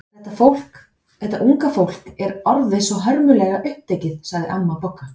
Þetta unga fólk er orðið svo hörmulega upptekið sagði amma Bogga.